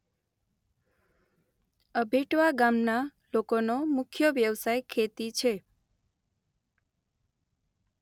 અભેટવા ગામના લોકોનો મુખ્ય વ્યવસાય ખેતી છે.